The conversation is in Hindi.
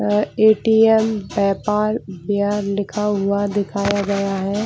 यह एटीएम व्यापार लिखा हुआ दिखाया गया है।